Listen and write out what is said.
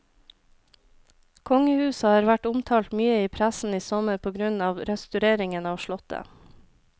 Kongehuset har vært omtalt mye i pressen i sommer på grunn av restaureringen av slottet.